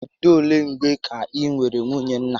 Bido olé mgbè kà I nwèrè nwunye nna?